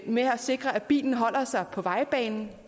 med at sikre at bilen holder sig på vejbanen